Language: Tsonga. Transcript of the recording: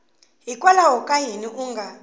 hikwalaho ka yini u nga